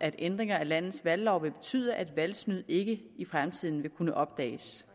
at ændringer af landets valglov vil betyde at valgsnyd ikke i fremtiden vil kunne opdages